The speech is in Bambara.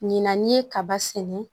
Ɲinan n'i ye kaba sɛnɛ